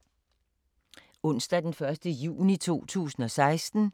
Onsdag d. 1. juni 2016